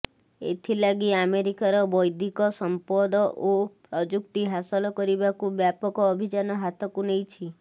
ଏଥିଲାଗି ଆମେରିକାର ବୈଦ୍ଧିକ ସମ୍ପଦ ଓ ପ୍ରଯୁକ୍ତି ହାସଲ କରିବାକୁ ବ୍ୟାପକ ଅଭିଯାନ ହାତକୁ ନେଇଛି